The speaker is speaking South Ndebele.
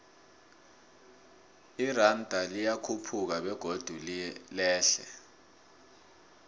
iranda liyakhuphuka begodu lehle